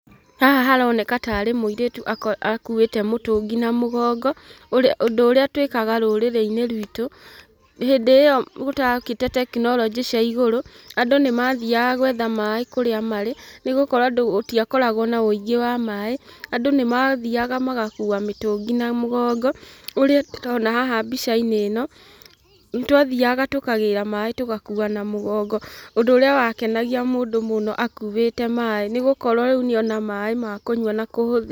Haha haroneka tarĩ mũirĩtu akuĩte mũtũngi na mũgongo. Ũndũ ũrĩa twĩkaga rũrĩrĩ-inĩ writũ, hĩndĩ ĩyo gũtokĩte tekinoronjĩ cia igũrũ, andũ nĩmathiaga gwetha maĩ kũrĩa marĩ, nĩgũkorwo gũtiakoragwo na wĩingĩ wa maĩ, andũ nĩmathiaga magakua mũtũngi na mũgongo. Ũrĩa tũrona haha mbica-inĩ ĩno, nĩtwathiaga tũkagĩra maĩ tũgakua na mũgongo, ũndũ ũrĩa wakenagia mũndũ mũno akuĩte maĩ, nĩgũkorwo rĩu nĩona maĩ ma kũnyua na kũhũthĩra.